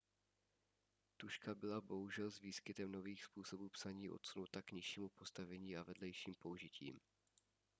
tužka byla bohužel s výskytem nových způsobů psaní odsunuta k nižšímu postavení a vedlejším použitím